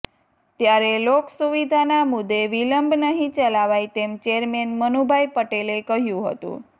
ત્યારે લોક સુવિધાના મુદ્દે વિલંબ નહી ચલાવાય તેમ ચેરમેન મનુભાઇ પટેલે કહ્યુ હતુ